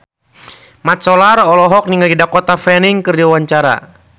Mat Solar olohok ningali Dakota Fanning keur diwawancara